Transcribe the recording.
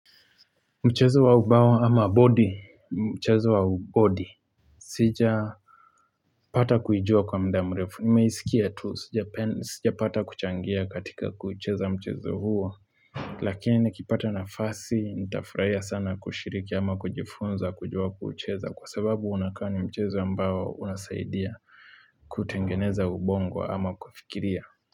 Mchezo wa ubawa ama body, mchezo wa ubodi sija pata kuijua kwa mdamrefu, nimeisikia tu, sija pata kuchangia katika kuucheza mchezo huo. Lakini kipata na fasi, nitafuraiya sana kushiriki ama kujifunza kujua kuucheza kwa sababu unakani mchezo ambao unasaidia. Kutengeneza ubongo ama kufikiria.